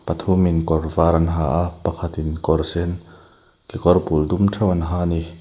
thumin kawr var an ha a pakhatin kawr sen kekawr bul dum theuh an ha ani.